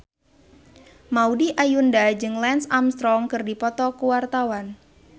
Maudy Ayunda jeung Lance Armstrong keur dipoto ku wartawan